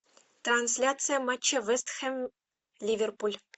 трансляция матча вест хэм ливерпуль